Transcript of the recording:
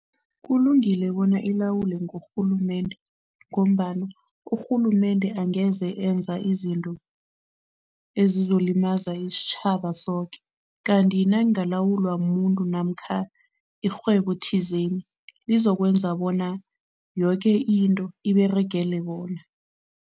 Kulungile bona ilawulwe ngurhulumende ngombana urhulumende angeze enza izinto ezizolimaza isitjhaba zoke kanti nayingalawulwa mumuntu namkha irhwebo thizeni, lizokwenza bona yoke into iberegile bona.